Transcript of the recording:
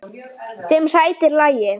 Sem sætir lagi.